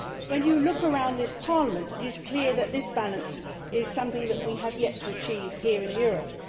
When you look around this Parliament, it is clear that this balance is something that we have yet to achieve here in Europe.